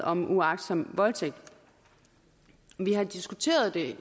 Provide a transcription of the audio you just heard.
om uagtsom voldtægt vi har diskuteret det